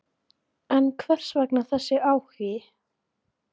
Kristján Már Unnarsson: En hvers vegna þessi áhugi?